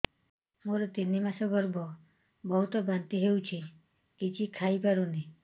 ମୋର ତିନି ମାସ ଗର୍ଭ ବହୁତ ବାନ୍ତି ହେଉଛି କିଛି ଖାଇ ପାରୁନି